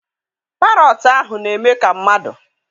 Parọọtụ ahụ na-eme ka mmadụ.